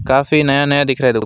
काफी नया नया दिख रहा है दो।